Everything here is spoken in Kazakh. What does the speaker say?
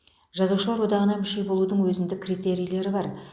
жазушылар одағына мүше болудың өзіндік критерийлері бар